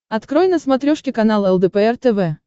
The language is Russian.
открой на смотрешке канал лдпр тв